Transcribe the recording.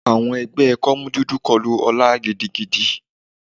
Àwọn ẹgbẹ́ kọ́mú dúdú kọlu ọla gidigidi.